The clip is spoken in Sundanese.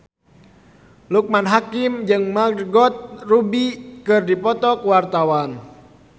Loekman Hakim jeung Margot Robbie keur dipoto ku wartawan